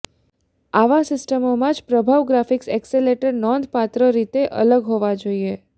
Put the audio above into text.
આવા સિસ્ટમોમાં જ પ્રભાવ ગ્રાફિક્સ એક્સેલેટર નોંધપાત્ર રીતે અલગ હોવા જોઈએ